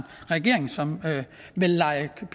regering som ville lege